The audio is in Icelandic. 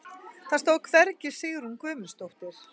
Það stóð hvergi Sigrún Guðmundsdóttir.